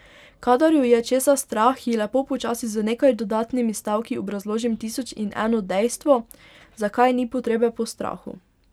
Kadar jo je česa strah, ji lepo počasi z nekaj dodatnimi stavki obrazložim tisoč in eno dejstvo, zakaj ni potrebe po strahu.